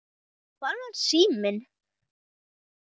Hvar var síminn?